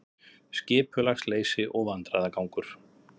Skipulagsleysi og vandræðagangur